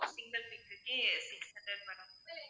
single pic க்குக்கே six hundred madam